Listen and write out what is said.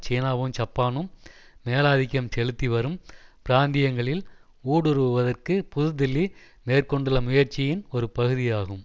சீனாவும் ஜப்பானும் மேலாதிக்கம் செலுத்திவரும் பிராந்தியங்களில் ஊடுருவுவதற்கு புதுதில்லி மேற்கொண்டுள்ள முயற்சியின் ஒருபகுதியாகும்